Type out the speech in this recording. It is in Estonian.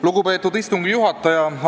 Lugupeetud istungi juhataja!